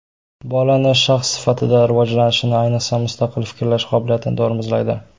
Bolani shaxs sifatida rivojlanishini, ayniqsa, mustaqil fikrlash qobiliyatini tormozlaydi.